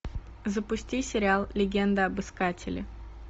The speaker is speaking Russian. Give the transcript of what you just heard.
запусти сериал легенда об искателе